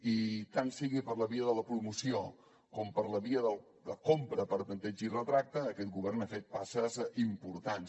i tant sigui per la via de la promoció com per la via de la compra per tanteig i retracte aquest govern ha fet passes importants